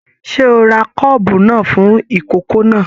Ṣe o rà kọ́ọ́bú náà fún ikòkò náà?